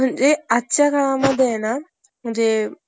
खजिनाच हाती लागला.